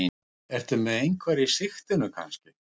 Ertu með einhverja í sigtinu kannski?